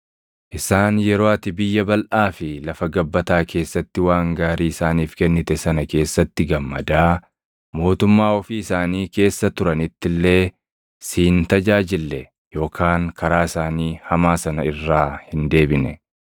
Isaan yeroo ati biyya balʼaa fi lafa gabbataa keessatti waan gaarii isaaniif kennite sana keessatti gammadaa, mootummaa ofii isaanii keessa turanitti illee si hin tajaajille yookaan karaa isaanii hamaa sana irraa hin deebine.